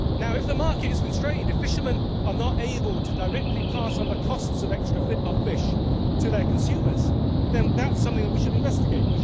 If the market is constrained, if fishermen are not able to directly pass on the costs of fish to their consumers, then that is something that we should investigate.